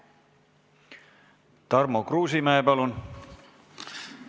Tarmo Kruusimäe, palun!